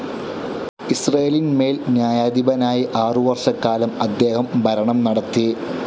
ഇസ്രേലിന്മേൽ ന്യായാധിപനായി ആറുവർഷക്കാലം അദ്ദേഹം ഭരണം നടത്തി.